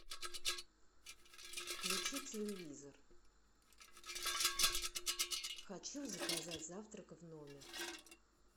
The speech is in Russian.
включи телевизор хочу заказать завтрак в номер